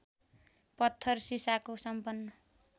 पत्थर शीशाको सम्पन्न